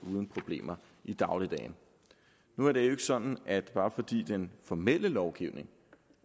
uden problemer i dagligdagen nu er det jo ikke sådan at bare fordi den formelle lovgivning